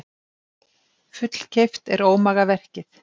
Fullkeypt er ómagaverkið.